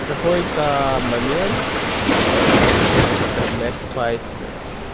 в какой-то момент он начал употреблять спайсы